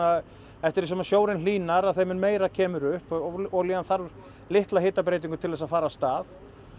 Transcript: eftir því sem sjórinn hlýnar þeim mun meira kemur upp og olían þarf litla hitabreytingu til þess að fara af stað